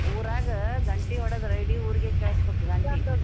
ಊರಾಗ ಗಂಟಿ ಹೊಡದ್ರ್ ಇಡೀ ಊರಿಗೆೇ ಕೇಳಸ್ಬಕ .